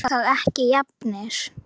Erum við þá ekki jafnir?